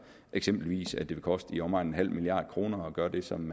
eksempelvis at det vil koste i omegnen af en nul milliard kroner at gøre det som